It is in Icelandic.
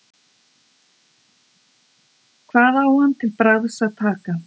Hvað á hann til bragðs að taka?